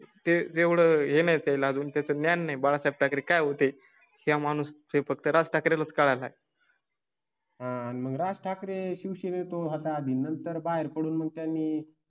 ते एवढं हे नाही. त्याला अजून त्याचे ज्ञान नाही. बाळासाहेब ठाकरे काय होते त्या माणूस ते फक्त राज ठाकरेच काळ आहे. आणि मग राज ठाकरे हे उशीर होत होता. आधी नंतर बाहेर पडून मग त्यांनी